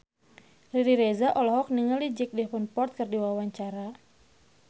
Riri Reza olohok ningali Jack Davenport keur diwawancara